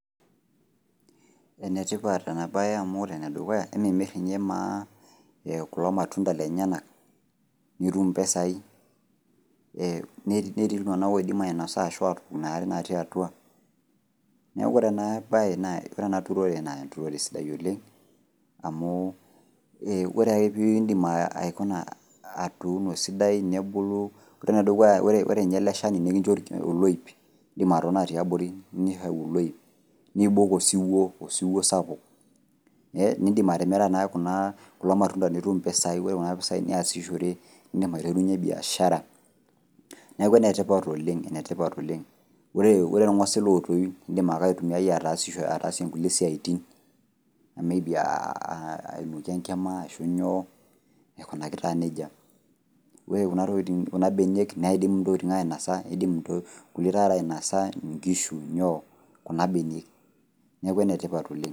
Enetipat enabae amu ore enedukuya, emimir ninye maa kulo matunda lenyanak, nitum impisai. Netii iltung'anak oidim ainosa ashu atok inaare natii atua. Neeku ore enabae na ore ena turore na enturore sidain oleng, amu ore ake pidim aikuna atuuno esidai, nebulu, ore enedukuya ore nye ele shani nikincho oloip, idim atotona tiabori, nitau oloip, nibok osiwuo, osiwuo sapuk, nidim atimira nake kuna kulo matunda nitum impisai, ore kuna pisai, niasishore, idim aiterunye biashara. Neeku enetipat oleng, enetipat oleng. Ore irng'osil otoyu, idim ake aitumiai ataasishore ataasie nkulie siaitin, may be ainokie enkima, ashu nyoo, aikunaki taa nejia. Ore kuna tokiting kuna benek, neidim intokiting ainosa, idim nkulie ntare ainasa, nkishu, kuna benek. Neeku enetipat oleng.